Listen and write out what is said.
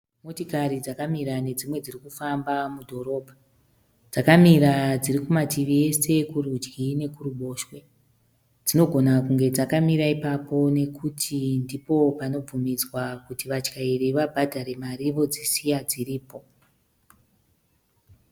Motokari dzakamura nedzimwe dzirikufamba mudhorobha. Dzakamira dzirikumativi ese kurudyi nekuruboshwe. Dzinogona kunge dzakamira ipapo nekuti ndipo panobvunidzwa kuti vatyairi vabhadhare mari vodzisisiya dziripo.